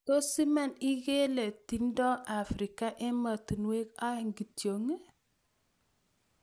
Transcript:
Tos' iman iingelee tindo Afrika emotinuek aeng' kityok ii